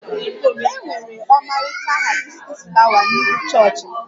E nwere ọmarịcha haibiskus flawa n'ihu chọọchị m